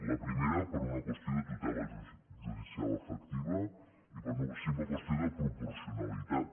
la primera per una qüestió de tutela judicial efectiva i per una simple qüestió de proporcionalitat